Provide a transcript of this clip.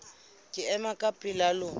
ke ema ka pela lona